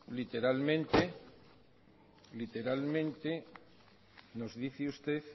literalmente nos dice usted